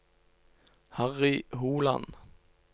Harry Holand